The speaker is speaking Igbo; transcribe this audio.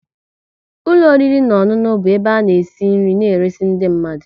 ụlọ oriri na ọṅụṅụ bụ ebe ana esi nri na eresi ndị mmadụ